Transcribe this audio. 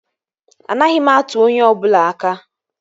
Anaghị m atụ onye ọ bụla aka